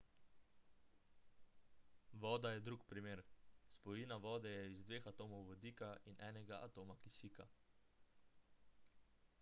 voda je drug primer spojina vode je iz dveh atomov vodika in enega atoma kisika